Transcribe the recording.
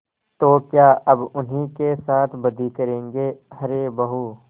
तो क्या अब उन्हीं के साथ बदी करेंगे अरे बहू